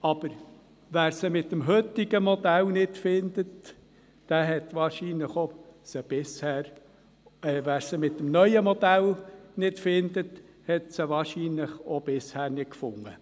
Aber wer diese mit dem neuen Modell nicht findet, hat sie wahrscheinlich auch bisher nicht gefunden.